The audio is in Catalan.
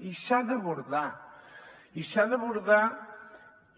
i s’ha d’abordar i s’ha d’abordar